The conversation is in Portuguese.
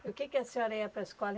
Do que que a senhora ia para a escola?